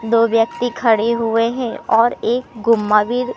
दो व्यक्ति खड़े हुए हैं और एक गुम्मावीर--